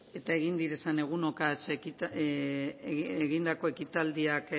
eta egunotan egindako ekitaldiak